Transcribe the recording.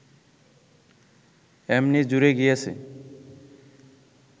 এমনি জুড়ে গিয়েছে